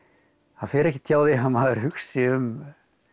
það fer ekkert hjá því að maður hugsi um